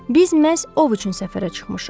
Biz məhz ov üçün səfərə çıxmışıq.